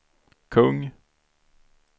kung